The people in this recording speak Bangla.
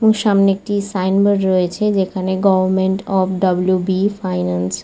উম সামনে একটি সাইন বোর্ড রয়েছে যেখানে government of W. B. Finance.